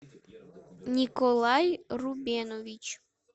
николай рубенович